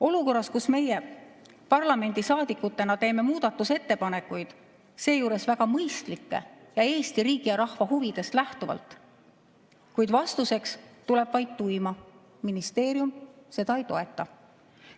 Olukorras, kus meie parlamendisaadikutena teeme muudatusettepanekuid, seejuures väga mõistlikke Eesti riigi ja rahva huvidest lähtuvalt, tuleb vastuseks vaid tuima – ministeerium seda ei toeta.